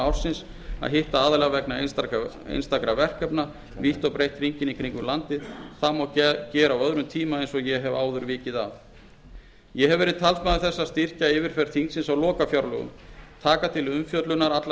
ársins að hitta aðila vegna einstakra verkefna vítt og breitt hringinn í kringum landið það má gera á öðrum tíma eins og ég hef áður vikið að ég hef verið talsmaður þess að styrkja yfirferð þingsins á lokafjárlögum taka til umfjöllunar allar